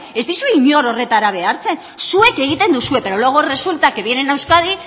ez dizue inor horretara behartzen zuek egiten duzue pero luego resulta que vienen a euskadi